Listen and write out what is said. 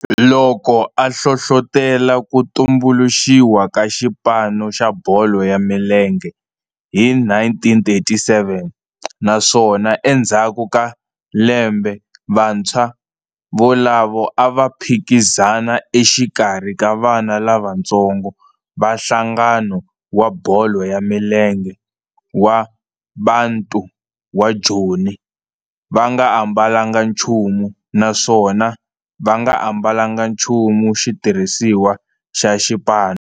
Loko a hlohlotela ku tumbuluxiwa ka xipano xa bolo ya milenge hi 1937 naswona endzhaku ka lembe vantshwa volavo a va phikizana exikarhi ka vana lavatsongo va nhlangano wa bolo ya milenge wa Bantu wa Joni va nga ambalanga nchumu naswona va nga ambalanga nchumu xitirhisiwa xa xipano.